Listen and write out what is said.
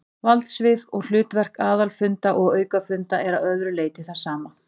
Valdsvið og hlutverk aðalfunda og aukafunda er að öðru leyti það sama.